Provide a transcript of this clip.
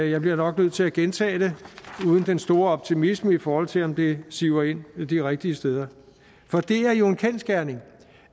jeg bliver nok nødt til at gentage det uden den store optimisme i forhold til om det siver ind de rigtige steder for det er jo en kendsgerning